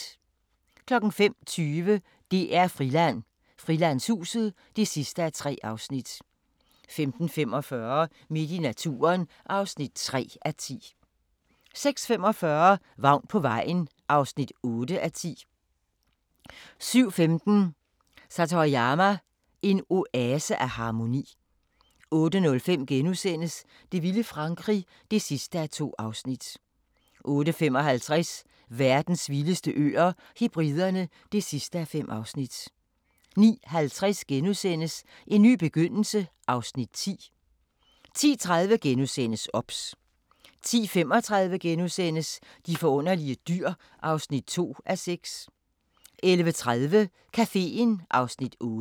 05:20: DR-Friland: Frilandshuset (3:3) 05:45: Midt i naturen (3:10) 06:45: Vagn på vejen (8:10) 07:15: Satoyama – en oase af harmoni 08:05: Det vilde Frankrig (2:2)* 08:55: Verdens vildeste øer - Hebriderne (5:5) 09:50: En ny begyndelse (Afs. 10)* 10:30: OBS * 10:35: De forunderlige dyr (2:6)* 11:30: Caféen (Afs. 8)